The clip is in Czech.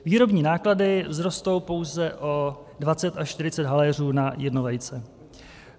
Výrobní náklady vzrostou pouze o 20 až 40 haléřů na jedno vejce.